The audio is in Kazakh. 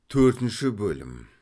төртінші бөлім